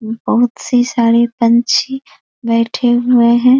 बहुत सी सारी पंछी बैठे हुए हैं।